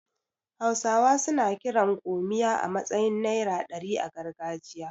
Hausawa suna kiran 'gomiya' a matsayin naira ɗari a gargajiya.